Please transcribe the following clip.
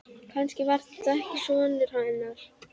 Kannski var þetta ekki sonur hennar.